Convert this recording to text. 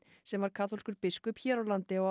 sem var kaþólskur biskup hér á landi á